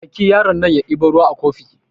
Aiki yaron nan ya debo ruwa a kofi